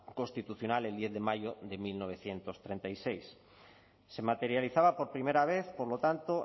constitucional el diez de mayo de mil novecientos treinta y seis se materializaba por primera vez por lo tanto